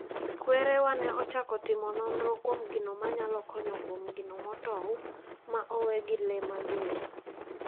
Kwerewa ne ochako timo nonro kuom gino manyalo konyo kuom gino motow ma owe gi lee mager.